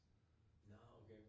Nåh okay